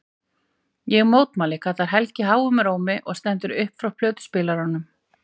Ég mótmæli, kallar Helgi háum rómi og stendur upp frá plötuspilaranum.